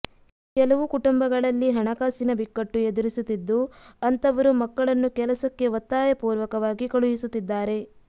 ಕೆಲವು ಕುಟುಂಬಗಳಲ್ಲಿ ಹಣಕಾಸಿನ ಬಿಕ್ಕಟ್ಟು ಎದುರಿಸುತ್ತಿದ್ದು ಅಂತವರು ಮಕ್ಕಳನ್ನು ಕೆಲಸಕ್ಕೆ ಒತ್ತಾಯಪೂರ್ವಕವಾಗಿ ಕಳುಹಿಸುತ್ತಿದ್ದಾರೆ